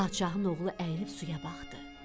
Padşahın oğlu əyilib suya baxdı.